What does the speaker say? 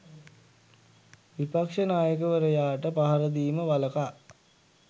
විපක්ෂ නායකවරයාට පහරදීම වලකා